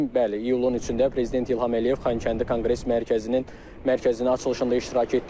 Bəli, iyulun 3-də prezident İlham Əliyev Xankəndi Konqres Mərkəzinin mərkəzin açılışında iştirak etdi.